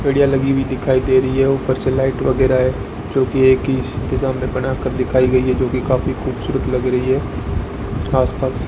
चिड़िया लगी हुई दिखाई दे रही है ऊपर से लाइट वगैरह है जो कि एक ही दिशा में बना कर दिखाई गई है जो कि काफी खूबसूरत लग रही है आस पास --